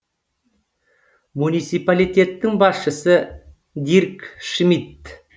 муниципалитеттің басшысы дирк шмидт